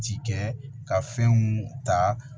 Ci kɛ ka fɛnw ta